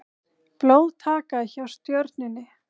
Blóðtaka hjá Stjörnunni